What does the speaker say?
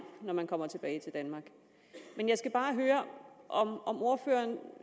når man kommer tilbage til danmark men jeg skal bare høre om ordføreren